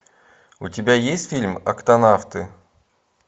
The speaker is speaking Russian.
у тебя есть фильм октонавты